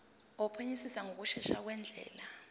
wophenyisiso ngokushesha ngendlela